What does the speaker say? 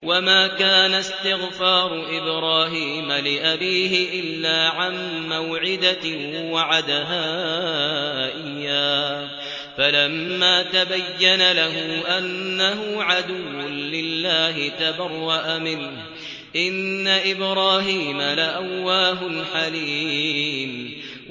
وَمَا كَانَ اسْتِغْفَارُ إِبْرَاهِيمَ لِأَبِيهِ إِلَّا عَن مَّوْعِدَةٍ وَعَدَهَا إِيَّاهُ فَلَمَّا تَبَيَّنَ لَهُ أَنَّهُ عَدُوٌّ لِّلَّهِ تَبَرَّأَ مِنْهُ ۚ إِنَّ إِبْرَاهِيمَ لَأَوَّاهٌ حَلِيمٌ